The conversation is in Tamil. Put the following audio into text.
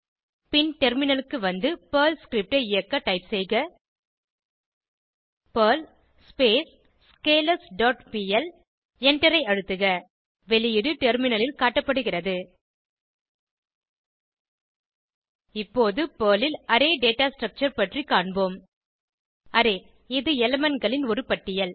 பின் டெர்மினலுக்கு வந்து பெர்ல் ஸ்கிரிப்ட் ஐ இயக்க டைப் செய்க பெர்ல் ஸ்கேலர்ஸ் டாட் பிஎல் எண்டரை அழுத்துக வெளியீடு டெர்மினலில் காட்டப்படுகிறது இப்போது பெர்ல் ல் அரே டேட்டா ஸ்ட்ரக்சர் பற்றி காண்போம் Array இது elementகளின் ஒரு பட்டியல்